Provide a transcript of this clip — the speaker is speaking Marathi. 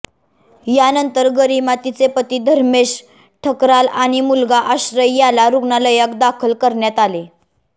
यानंतर गरिमा तिचे पती धर्मेश ठकराल आणि मुलगा आश्रय याला रुग्णालयाक दाखल करण्यात आले